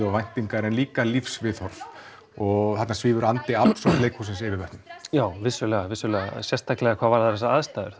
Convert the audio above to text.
og væntingar en líka lífsviðhorf og þarna svífur andi absúrdleikhússins yfir vötnum já vissulega vissulega sérstaklega hvað varðar þessar aðstæður